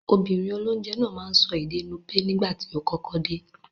Obìnrin olónje náà máa n so ède Nupe nígbàtí o kọ́kọ́ de